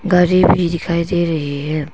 गाड़ी भी दिखाई दे रही है।